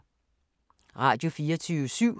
Radio24syv